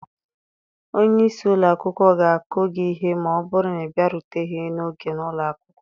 Onye isi ụlọ akwụkwọ ga-akụ gị ihe ma ọ bụrụ na ị bịaruteghi n'oge na ụlọ akwụkwọ